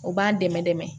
O b'an dɛmɛ dɛmɛ